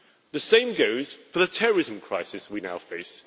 The same goes for the terrorism crisis we now face.